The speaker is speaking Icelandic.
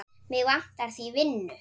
Mig vantar því vinnu.